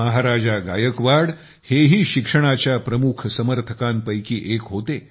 महाराजा गायकवाड हे ही शिक्षणाच्या प्रमुख समर्थकांपैकी एक होते